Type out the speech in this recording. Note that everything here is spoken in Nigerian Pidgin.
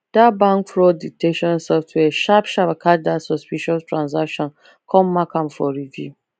that bank fraud detection software sharp sharp catch that suspicious transaction come mark am for review